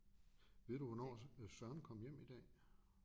Ved du hvornår Søren kom hjem i dag?